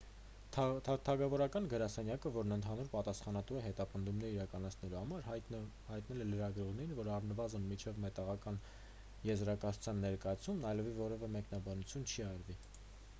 թագավորական գրասենյակը որն ընդհանուր պատասխանատու է հետապնդումներ իրականացնելու համար հայտնել է լրագրողներին որ առնվազն մինչև մեղադրական եզրակացության ներկայացումն այլևս որևէ մեկնաբանություն չի արվի